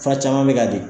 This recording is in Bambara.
Fura caman bɛ ka di